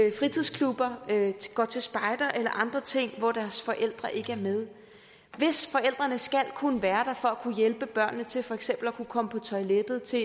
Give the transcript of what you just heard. i fritidsklubber går til spejder eller andre ting hvor deres forældre ikke er med hvis forældrene skal kunne være der for at kunne hjælpe børnene til for eksempel at kunne komme på toilettet til